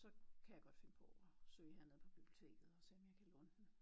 Så kan jeg godt finde på at søge hernede på biblioteket og se om jeg kan låne den